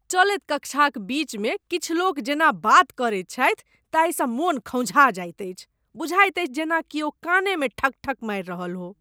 चलैत कक्षाक बीचमे किछु लोक जेना बात करैत छथि ताहिसँ मन खौंझा जाइत अछि, बुझाइत अछि जेना किओ कानेमे ठकठक मारि रहल हो।